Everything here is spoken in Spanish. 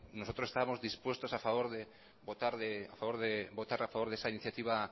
nosotros estábamos dispuestos a favor de votar a favor de esa iniciativa